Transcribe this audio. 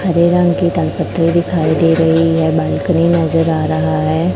हरे रंग की दाल दिखाई दे रही है बालकनी नजर आ रहा है।